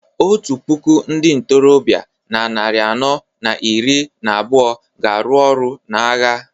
otu puku ndị ntorobịa na narị anọ na iri na abụọ ga-arụ ọrụ n’agha